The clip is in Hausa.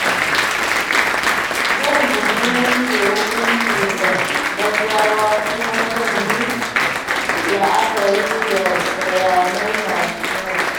Zan guji yanke hukunci da gaggawa kuma zan yi la'akari da bayanai masu yawa.